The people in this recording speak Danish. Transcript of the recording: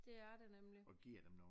Det er det nemlig